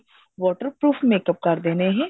water proof makeup ਕਰਦੇ ਨੇ ਇਹ